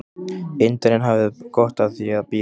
Indverjinn hafði gott af því að bíða.